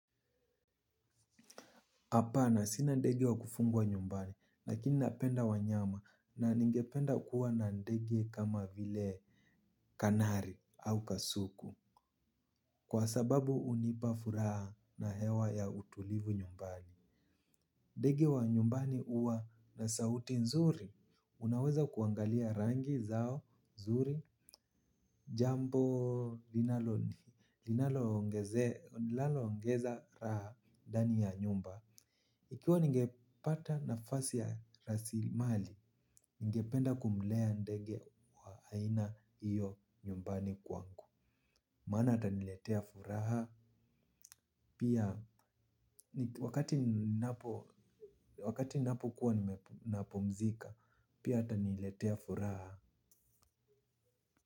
Hapana sina ndege wa kufungwa nyumbani, lakini napenda wanyama, na ningependa kuwa na ndege kama vile Kanari au kasuku. Kwa sababu hunipa furaha na hewa ya utulivu nyumbani. Ndege wa nyumbani huwa na sauti nzuri. Unaweza kuangalia rangi zao nzuri, jambo linalo ongezea, linalo ongeza raha ndani ya nyumba. Ikiwa ningepata nafasi ya raslimali, ningependa kumlea ndege wa aina hiyo nyumbani kwangu. Maana ataniletea furaha, pia wakati ninapo kuwa napumzika, pia ataniletea furaha.